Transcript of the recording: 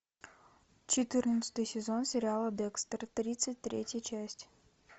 четырнадцатый сезон сериала декстер тридцать третья часть